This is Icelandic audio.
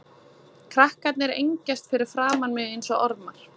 Krakkarnir engjast fyrir framan mig einsog ormar.